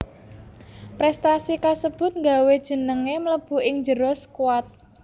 Prestasi kasebut nggawé jengengé mlebu ing njero skuat